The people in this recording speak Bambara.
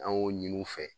An y'o ɲini u fɛ